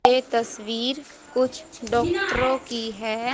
ये तस्वीर कुछ डॉक्टरों की है।